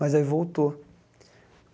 Mas aí voltou.